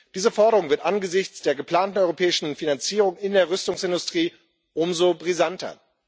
Diese Forderung wird angesichts der geplanten europäischen Finanzierung in der Rüstungsindustrie umso brisanter.